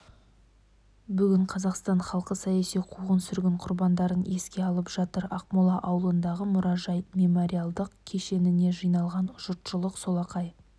бүгін қазақстан халқы саяси қуғын-сүргін құрбандарын еске алып жатыр ақмол ауылындағы мұражай-мемориалдық кешеніне жиналған жұртшылық солақай